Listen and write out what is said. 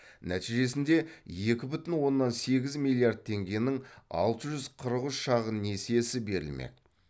нәтижесінде екі бүтін оннан сегіз миллиард теңгенің алты жүз қырық үш шағын несиесі берілмек